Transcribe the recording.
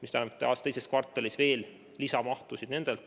See tähendab, et aasta teises kvartalis on oodata lisamahtu.